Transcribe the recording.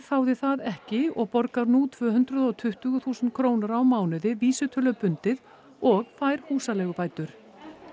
þáði það ekki og borgar nú tvö hundruð og tuttugu þúsund krónur á mánuði vísitölubundið og fær húsaleigubætur